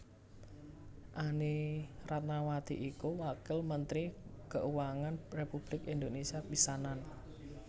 Anny Ratnawati iku Wakil Mentri Kauangan Republik Indonésia pisanan